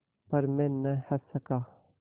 पर मैं न हँस सका